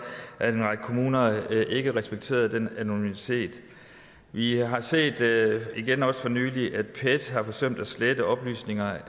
at en række kommuner ikke respekterede den anonymitet vi har set igen også for nylig at pet har forsømt at slette oplysninger